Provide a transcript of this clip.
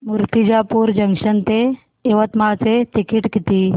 Murtijapur junction ते यवतमाळ चे ticket किती